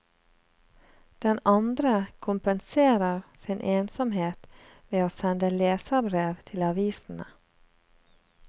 Den andre kompenserer sin ensomhet ved å sende leserbrev til avisene.